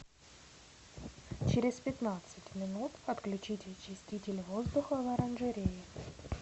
через пятнадцать минут отключить очиститель воздуха в оранжерее